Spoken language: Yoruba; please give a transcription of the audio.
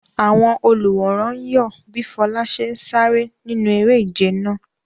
Àwọn olùwòran ń yọ̀ bí Fola ṣe ń sáré nínú eré-ìje náà.